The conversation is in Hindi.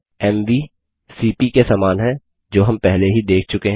एमवी सीपी के समान है जो हम पहले ही देख चुके हैं